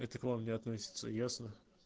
циклон не относится ясно